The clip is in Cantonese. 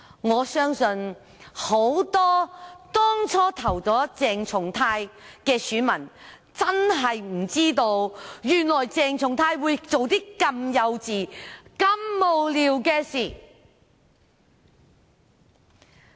我相信很多當初投票給鄭松泰議員的選民，真的不知道原來鄭松泰議員會做這麼幼稚和無聊的事。